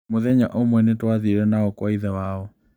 Mũthenya ũmwe nĩ twathire nao kwa ithe wao.